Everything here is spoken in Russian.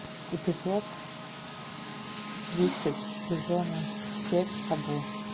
эпизод тридцать сезона семь табу